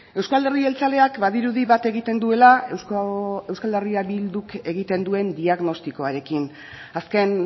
euzko alderdi jeltzaleak badirudi bat egiten duela euskal herria bilduk egiten duen diagnostikoarekin azken